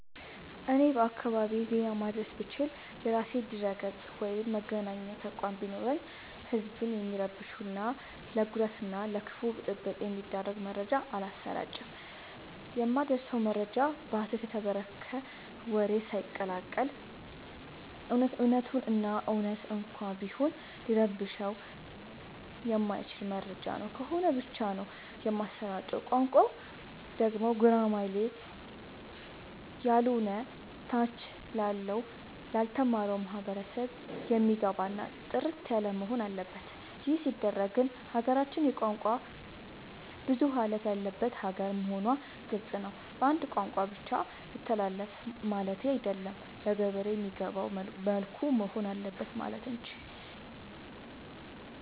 እኔ በአካባቢዬ ዜና ማድረስ ብችል። የራሴ ድረገፅ ወይም መገናኛ ተቋም ቢኖረኝ ህዝብን የሚረብሹ እና ለጉዳት እና ለከፋ ብጥብ የሚዳርግ መረጃ አላሰራጭም። የማደርሰው መረጃ በሀሰት የተፈበረከ ወሬ ሳይቀላቀል በት እውነቱን እና እውነት እንኳን ቢሆን ሊረብሸው የማይችል መረጃ ነው ከሆነ ብቻ ነው የማሰራጨው። ቋንቋው ደግሞ ጉራማይሌ ያሎነ ታች ላለው ላልተማረው ማህበረሰብ የሚገባ እና ጥርት ያለወሆን አለበት ይህ ሲባል ግን ሀገራችን የቋንቋ ብዙሀለት ያለባት ሀገር መሆኗ ግልፅ ነው። በአንድ ቋንቋ ብቻ ይተላለፍ ማለቴ አይደለም ለገበሬ በሚገባው መልኩ መሆን አለበት ማለት እንጂ።